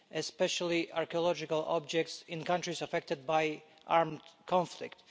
especially archaeological objects in countries affected by armed conflict.